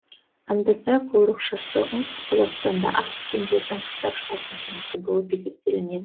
аңдасай қорықшасы оңтүстік қазақстанда ақ бөкендердің қыстап шығатын қонысы болып есептелінеді